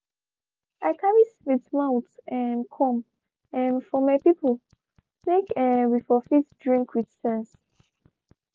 i carry sweet mouth um come um for my people make um we for fit drink with sense